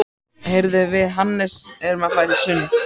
Heyrðu, við Hannes erum að fara í sund.